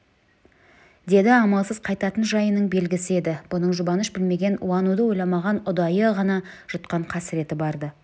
деді амалсыз қайтатын жайының белгісі еді бұның жұбаныш білмеген уануды ойламаған ұдайы ғана жұтқан қасіреті бар-ды